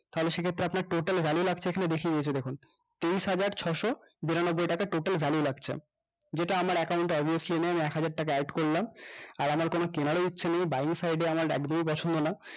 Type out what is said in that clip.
তাহলে সেক্ষেত্রে আপনার total value লাগছে এখানে দেখিয়ে দিয়েছে দেখুন তেইশহাজার ছয়শো বিরানব্বই টাকা total value লাগছে যেটা আমার account টা obviously নেন একহাজার টাকা add করলাম আর আমার কোনো কেনার ও ইচ্ছা নেই বাড়ির side এ আমার একদমই পছন্দ না